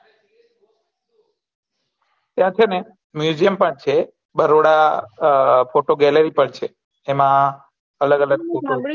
ત્યાં છેને museum પણ છેને બદોરા ફોટો ગેલેરય પણ છે એમાં અલગ અલગ ફોટો